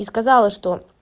и сказала что